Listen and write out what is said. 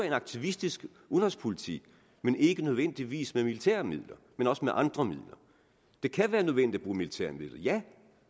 en aktivistisk udenrigspolitik men ikke nødvendigvis med militære midler også med andre midler det kan være nødvendigt at bruge militære midler ja